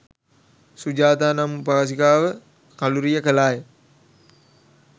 සුජාතා නම් උපාසිකාව කළුරිය කළා ය.